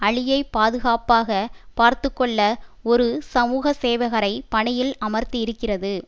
அலியை பாதுகாப்பாக பார்த்து கொள்ள ஒரு சமூக சேவகரை பணியில் அமர்த்தி இருக்கிறது